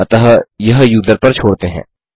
अतः यह यूजर पर छोड़ते हैं